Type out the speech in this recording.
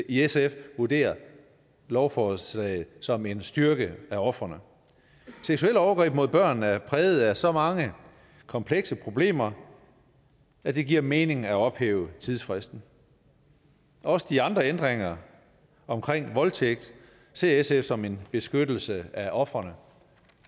i sf vurderer lovforslaget som en styrkelse af ofrene seksuelle overgreb mod børn er præget af så mange komplekse problemer at det giver mening at ophæve tidsfristen også de andre ændringer om voldtægt ser sf som en beskyttelse af ofrene